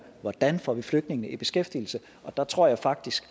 hvordan får vi flygtningene i beskæftigelse og der tror jeg faktisk